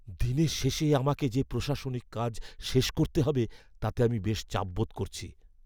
দিনের শেষে আমাকে যে প্রশাসনিক কাজ শেষ করতে হবে তাতে আমি বেশ চাপ বোধ করছি।